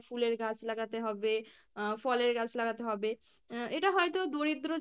ফুলের গাছ লাগাতে হবে আহ ফলের গাছ লাগাতে হবে আহ এটা হয়তো দরিদ্র যারা